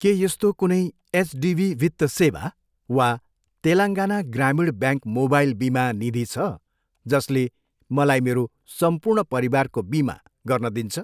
के यस्तो कुनै एचडिबी वित्त सेवा वा तेलङ्गाना ग्रामीण ब्याङ्क मोबाइल बिमा निधि छ, जसले मलाई मेरो सम्पूर्ण परिवारको बिमा गर्न दिन्छ?